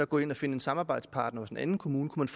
gå ind og finde en samarbejdspartner hos en anden kommune kunne